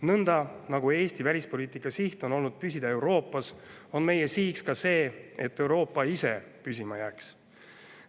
Nõnda, nagu Eesti välispoliitika siht on olnud püsida Euroopas, on meie sihiks ka see, et Euroopa ise püsima jääks.